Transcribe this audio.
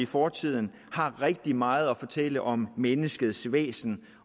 fortiden har rigtig meget at fortælle om menneskets væsen